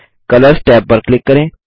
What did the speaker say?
colours tab पर click करें